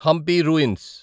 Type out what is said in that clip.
Hampi ruins